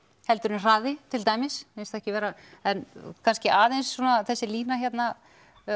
heldur en hraði til dæmis mér finnst ekki vera en kannski aðeins svona þessi lína hérna